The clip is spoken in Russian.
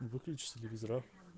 выключи телевизор а